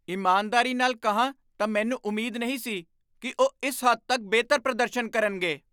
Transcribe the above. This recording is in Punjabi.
ਇਮਾਨਦਾਰੀ ਨਾਲ ਕਹਾਂ ਤਾਂ ਮੈਨੂੰ ਉਮੀਦ ਨਹੀਂ ਸੀ ਕਿ ਉਹ ਇਸ ਹੱਦ ਤੱਕ ਬਿਹਤਰ ਪ੍ਰਦਰਸ਼ਨ ਕਰਨਗੇ।